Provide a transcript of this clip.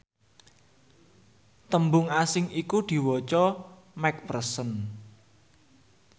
tembung asing iku diwaca mcpherson